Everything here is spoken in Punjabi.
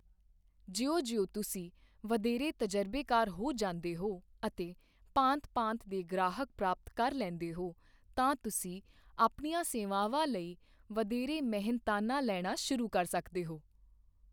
ਜਿਉਂ ਜਿਉਂ ਤੁਸੀਂ ਵਧੇਰੇ ਤਜਰਬੇਕਾਰ ਹੋ ਜਾਂਦੇ ਹੋ ਅਤੇ ਭਾਂਤ ਭਾਂਤ ਦੇ ਗ੍ਰਾਹਕ ਪ੍ਰਾਪਤ ਕਰ ਲੈਂਦੇ ਹੋ, ਤਾਂ ਤੁਸੀਂ ਆਪਣੀਆਂ ਸੇਵਾਵਾਂ ਲਈ ਵਧੇਰੇ ਮਿਹਨਤਾਨਾ ਲੈਣਾ ਸ਼ੁਰੂ ਕਰ ਸਕਦੇ ਹੋ।